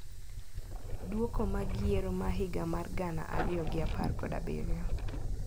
Duoko mag yiero mahiga mar gana ariyo gi apar kod abirio.